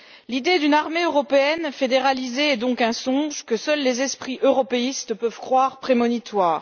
L'idée d'une armée européenne fédéralisée est donc un songe que seuls les esprits européistes peuvent croire prémonitoire.